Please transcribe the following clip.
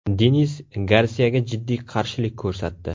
Denis Garsiyaga jiddiy qarshilik ko‘rsatdi.